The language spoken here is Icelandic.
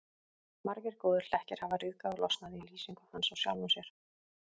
Margir góðir hlekkir hafa ryðgað og losnað í lýsingu hans á sjálfum sér.